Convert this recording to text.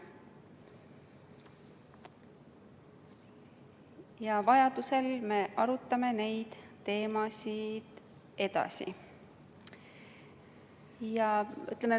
Ja vajadusel me arutame neid teemasid edasi.